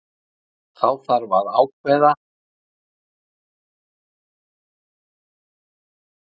Þá þarf að ákvarða úr hvaða kjördæmi hvert jöfnunarsæti kemur.